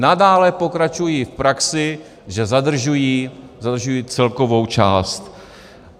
Nadále pokračují v praxi, že zadržují celkovou část.